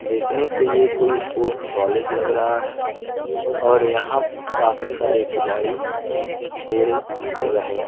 देखने से ये कोई स्पोर्ट्स कॉलेज लग रहा है और यहां काफी सारे खिलाड़ी खेल रहे हैं।